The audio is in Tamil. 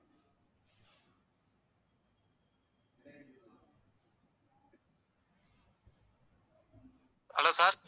hello sir